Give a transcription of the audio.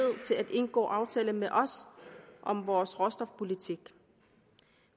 til at indgå aftaler med os om vores råstofpolitik